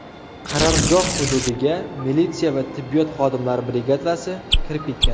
Qarorgoh hududiga militsiya va tibbiyot xodimlari brigadasi kirib ketgan.